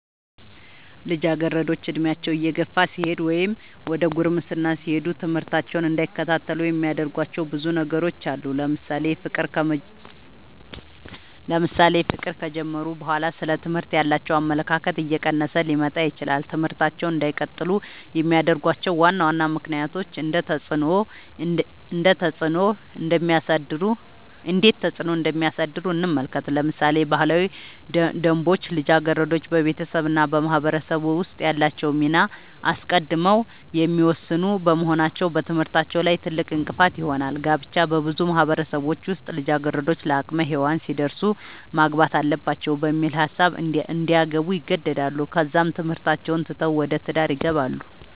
ልጃገረዶች ዕድሜያቸው እየገፋ ሲሄድ ወይም ዘደ ጉርምስና ሲሄዱ ትምህርታቸውን እንዳይከታተሉ የሚያደርጉዋቸው ብዙ ነገሮች አሉ ለምሳሌ ፍቅር ከጀመሩ በኋላ ስለ ትምህርት ያላቸው አመለካከት እየቀነሰ ሊመጣ ይችላል ትምህርታቸውን እንዳይቀጥሉ የሚያደርጉዋቸው ዋና ዋና ምክንያቶች እንዴት ተፅዕኖ እንደሚያሳድሩ እንመልከት ለምሳሌ ባህላዊ ደንቦች ልጃገረዶች በቤተሰብ እና በማህበረሰብ ውስጥ ያላቸውን ሚና አስቀድመው የሚወስኑ በመሆናቸው በትምህርታቸው ላይ ትልቅእንቅፋት ይሆናል። ጋብቻ- በብዙ ማህበረሰቦች ውስጥ ልጃገረዶች ለአቅመ ሄዋን ሲደርሱ ማግባት አለባቸው በሚል ሀሳብ እንዲያገቡ ይገደዳሉ ከዛም ትምህርታቸውን ትተው ወደ ትዳር ይገባሉ።